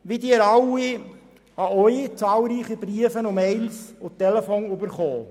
Wie Sie alle habe auch ich zahlreiche Briefe, E-Mails und Telefonanrufe bekommen.